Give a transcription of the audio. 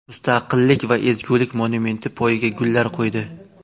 Mustaqillik va ezgulik monumenti poyiga gullar qo‘ydi.